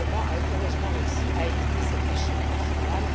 Le Parlement a heureusement réussi à éviter cette machine infernale.